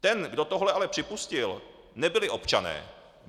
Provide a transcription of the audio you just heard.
Ten, kdo tohle ale připustil, nebyli občané.